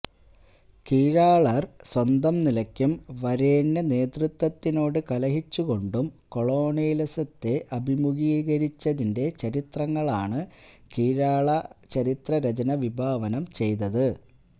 കീഴാളര് സ്വന്തം നിലക്കും വരേണ്യ നേതൃത്വത്തിനോട് കലഹിച്ചുകൊണ്ടും കൊളോണിയലിസത്തെ അഭിമുഖീകരിച്ചതിന്റെ ചരിത്രങ്ങളാണ് കീഴാള ചരിത്രരചന വിഭാവനം ചെയ്തത്